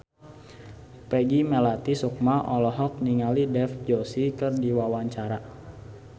Peggy Melati Sukma olohok ningali Dev Joshi keur diwawancara